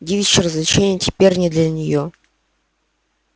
девичьи развлечения теперь не для нее